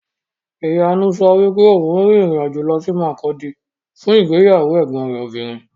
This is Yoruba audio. Ìyanu sọ wípé òun rin ìrìn-àjò lọ sí Makurdi fún ìgbéyàwó ẹ̀gbọn rẹ̀ obìnrin.